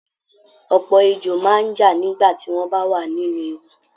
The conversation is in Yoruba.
Ọ̀pọ̀ ejò máa ń já nígbà tí wọ́n bá wà nínú ewu